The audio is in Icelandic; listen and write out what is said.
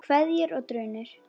Kveðjur og grunur